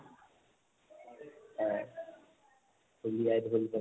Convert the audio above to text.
হয় ঢোলীয়াই ঢোল বজাই